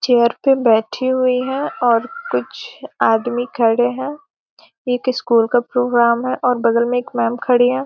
Chair पे बैठे हुए हैं और कुछ आदमी खड़े हैं। एक स्कूल का प्रोग्राम है और बगल में एक मैम खड़ी हैं |